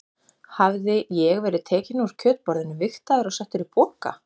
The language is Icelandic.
Hafði ég verið tekinn úr kjötborðinu, vigtaður og settur í poka?